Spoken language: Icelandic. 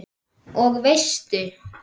Og veistu.